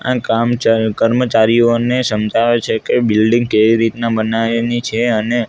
આ કામચા કર્મચારીઓને સમજાવે છે કે બિલ્ડીંગ કેવી રીતના બનાવાની છે અને--